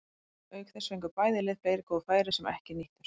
Auk þess fengu bæði lið fleiri góð færi sem ekki nýttust.